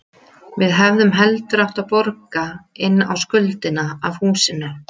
Við hefðum heldur átt að borga inn á skuldina af húsinu.